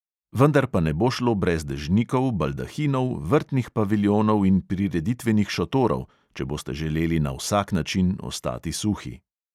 Vendar pa ne bo šlo brez dežnikov, baldahinov, vrtnih paviljonov in prireditvenih šotorov, če boste želeli na vsak način ostati suhi.